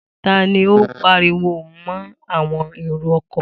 Ta ni ó pariwo mọ́ àwọn èrò-ọkọ̀?